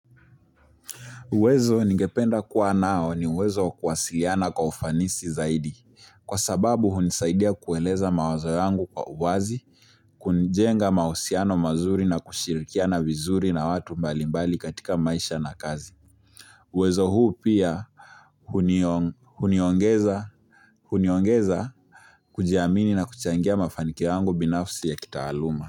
Uwezo ningependa kuwa nao ni uwezo wa kuwasiliana kwa ufanisi zaidi. Kwa sababu hunisaidia kueleza mawazo yangu kwa uwazi, kujenga mahusiano mazuri na kushirikiana vizuri na watu mbali mbali katika maisha na kazi. Uwezo huu pia huniongeza kujiamini na kuchangia mafanikio yangu binafsi ya kitaaluma.